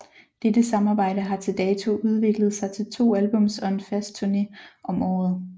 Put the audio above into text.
Dette samarbejde har til dato udviklet sig til to albums og en fast turné om året